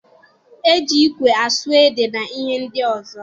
E ji ikwe asụ ede na ihe ndị ọzọ.